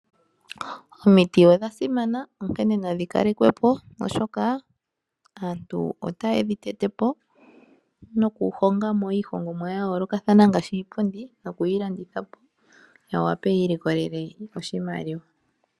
Omiti odha simana onkene nadhi kalekwepo oshoka aantu otaye dhi tete po, nokuhongamo iihongomwa ya yoolokathana ngaashi iipundi noku yi landitha po ya wape ya i likolele oshimaliwa.